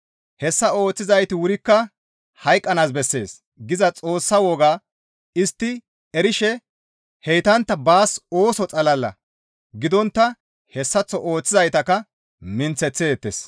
«Hessa ooththizayti wurikka hayqqanaas bessees» giza Xoossa wogaa istti erishe heytantta baas ooso xalala gidontta hessaththo ooththizaytakka minththeththeettes.